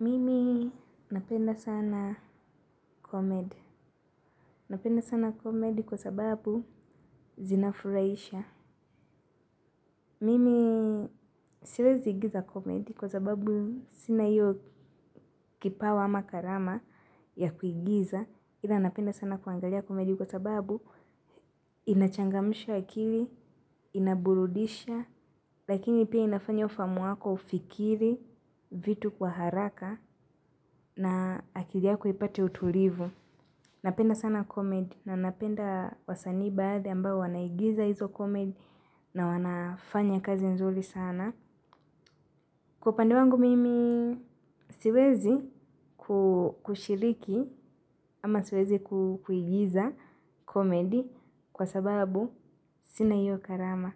Mimi napenda sana komedi. Napenda sana komedi kwa sababu zinafurahisha. Mimi siwezi igiza komedi kwa sababu sina hiyo kipawa ama karama ya kuigiza. Ila napenda sana kuangalia komedi kwa sababu inachangamsha akili inaburudisha lakini pia inafanya ufahamu wako ufikiri vitu kwa haraka na akiliyako ipate utulivu napenda sana komedi na napenda wasanii baadhi ambao wanaigiza hizo komedi na wanafanya kazi nzuri sana kwa upande wangu mimi siwezi kushiriki ama siwezi kuigiza komedi. Kwa sababu, sina hiyo karama.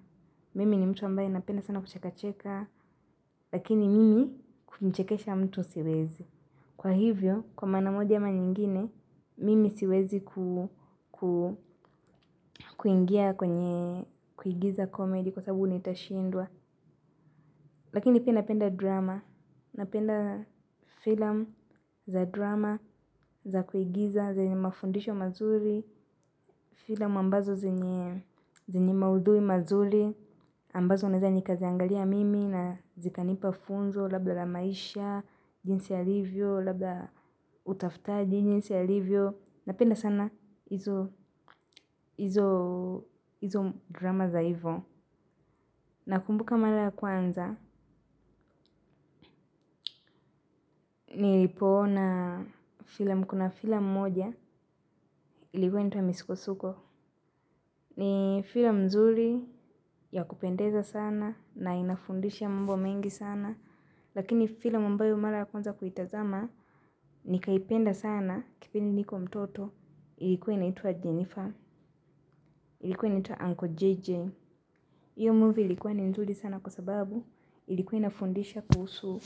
Mimi ni mtu ambaye napenda sana kuchekacheka. Lakini mimi kumchekesha mtu siwezi. Kwa hivyo, kwa maana moja ama nyingine mimi siwezi kuingia kwenye kuigiza komedi. Kwa sababu nitashindwa. Lakini pina penda drama. Napenda filam za drama za kuigiza zenye mafundisho mazuri. Filam ambazo zenye zenye maudhui mazuri ambazo naeza nikaziangalia mimi na zikanipa funzo, labda la maisha, jinsi alivyo, labda utafutaji, jinsi alivyo, napenda sana hizo izo drama za hivo. Nakumbuka mara kwanza, nilipoona filam, kuna filam moja, ilikuwa initwa misuko-suko. Ni filam nzuri ya kupendeza sana na inafundisha mambo mengi sana. Lakini filam ambayo mara ya kwanza kuitazama, nikaipenda sana kipindi niko mtoto ilikuwa inaitwa Jennifer, ilikuwa inaitwa Uncle JJ. Hiyo movie ilikuwa ni nzuri sana kwa sababu ilikuwa inafundisha kuhusu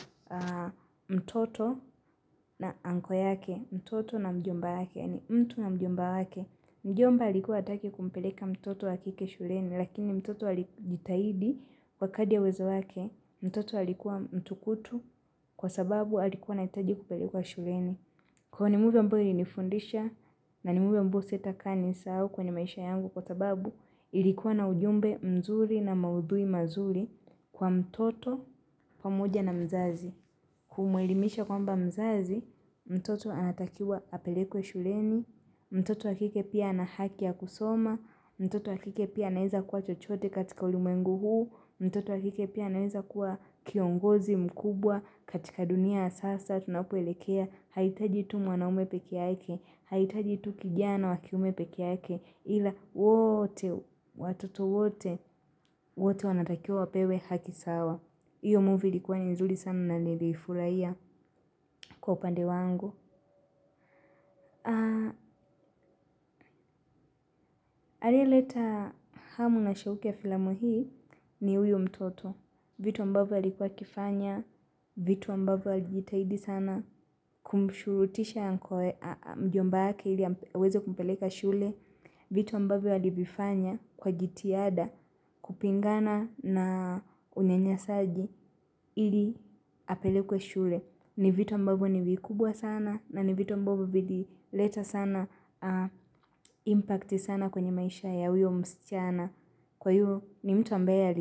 mtoto na uncle yake, mtoto na mjomba yake, yaani mtu na mjomba yake. Mjomba alikuwa hataki kumpeleka mtoto wa kike shuleni, lakini mtoto alijitahidi kwa kadi ya uwezo wake, mtoto alikuwa mtukutu kwa sababu alikuwa anahitaji kupelekwa shuleni. Kuwa ni movie ambyo ilinifundisha na ni movie ambayo sitakaa niisahau kwenye maisha yangu kwa sababu ilikuwa na ujumbe mzuri na maudhui mazuri kwa mtoto pamoja na mzazi. Kumwelimisha kwamba mzazi, mtoto anatakiwa apelekwe shuleni. Mtoto wakike pia anahaki ya kusoma. Mtoto wakike pia anaeza kuwa chochote katika ulimwengu huu. Mtoto wakike pia anaweza kuwa kiongozi mkubwa katika dunia ya sasa. Tunapoelekea, haitaji tu mwanaume peke yake. Haitaji tu kijana wakiume peke yake ila wote, watoto wote, wote wanatakiwa wapewe hakisawa. Iyo movie likuwa ni nzuri sana na niliifurahia kwa upande wangu. Aliyeleta hamu na shauki ya filamu hii ni huyu mtoto. Vitu ambavyo alikuwa akifanya, vitu ambavyo alijitahidi sana kumshurutisha mjomba wake ili aweze kumpeleka shule. Vitu ambavyo alivifanya kwa jitihada kupingana na unyanyasaji ili apelekwe shule. Ni vitu ambavo ni vikubwa sana na ni vitu ambavo vili leta sana impact sana kwenye maisha ya huyo msichana. Kwa hiyo ni mtu ambaye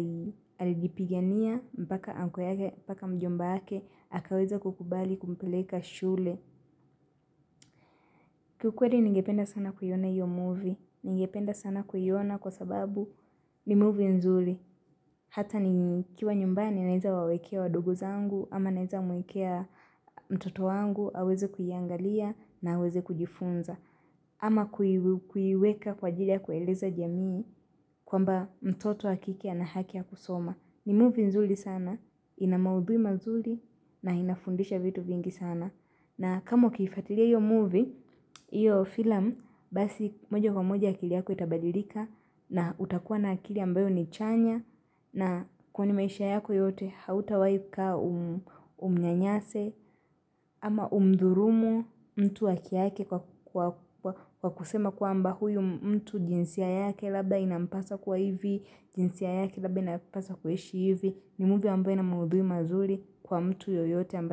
alijipigania, mpaka uncle yake mpaka mjomba yake, akaweza kukubali kumpeleka shule. Kiukweli ningependa sana kuiona iyo movie, ningependa sana kuiona kwa sababu ni movie nzuri, hata nikiwa nyumbani naeza wawekea wadogo zangu, ama naeza mwekea mtoto wangu, aweze kuiangalia na aweze kujifunza, ama kuiweka kwa ajili ya kueleza jamii kwamba mtoto wa kike ana haki ya kusoma. Ni movie nzuri sana, inamaudhui mazuri na inafundisha vitu vingi sana. Na kama ukifatiria iyo movie, iyo filam, basi moja kwa moja akili yako itabadirika na utakuwa na akili ambayo ni chanya na kwa ni maisha yako yote hauta wai kaa umnyanyase ama umdhurumu mtu haki yake kwa kusema kwamba huyu mtu jinsia yake labda ina mpasa kuwa hivi jinsia yake labda inapaswa kuishi hivi. Nimovie ambayo inamaudhui mazuri kwa mtu yoyote amba.